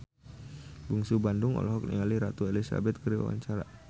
Bungsu Bandung olohok ningali Ratu Elizabeth keur diwawancara